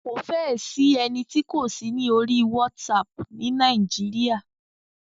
Kò fẹ́ ẹ sí ẹni tí kò sí ní orí WhatsApp ni Nàíjíríà.